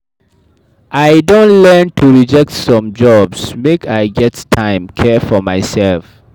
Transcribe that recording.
I don learn to reject some jobs make I get time care for mysef.